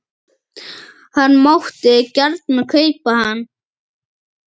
Hann mátti gjarnan kaupa hann.